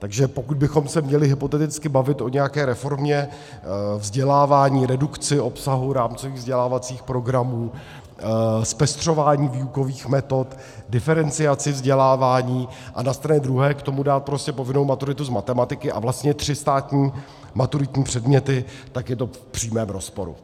Takže pokud bychom se měli hypoteticky bavit o nějaké reformě vzdělávání, redukci obsahu, rámcových vzdělávacích programů, zpestřování výukových metod, diferenciaci vzdělávání a na straně druhé k tomu dát prostě povinnou maturitu z matematiky a vlastně tři státní maturitní předměty, tak je to v přímém rozporu.